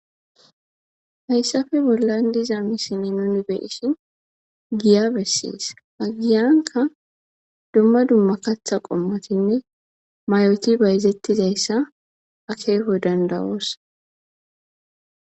hayssafe bollan diza misile nuni be'ishi giya bessees aggiyanka dumma dumma katha qommotinne may7oti bayzettizayssa akeeho dandawoosa